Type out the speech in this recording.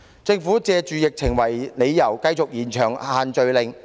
政府以疫情為理由，繼續延長實施限聚令。